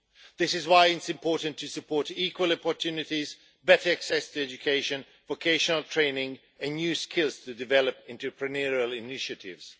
That is why it is important to support equal opportunities, better access to education, vocational training and new skills to develop entrepreneurial initiatives.